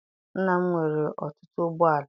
Nna m nwere ọtụtụ ụgbọala.